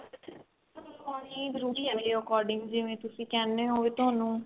ਨਹੀਂ ਜਰੂਰੀ ਏ ਮੇਰੇ according ਜਿਵੇਂ ਤੁਸੀਂ ਕਹਿੰਦੇ ਹੋ ਵੀ ਤੁਹਾਨੂੰ